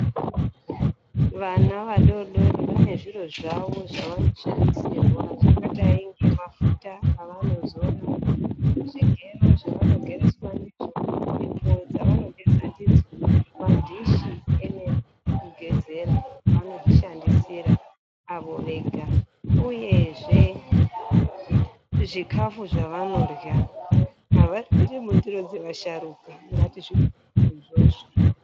Vana vadodori vane zviro zvavo zvavanoshandisirwa zvakadai ngemafuta avanozora. Zvigero zvavanogereswa ndizvo. Sipo dzavanogeza ndidzo. Madhishi emene ekugezera vanozvishandisira avo vega. Uyezve zvikafu zvavanodyra, avadyriri mundiro dzevasharuka. Ngatizvikoshese izvozvo.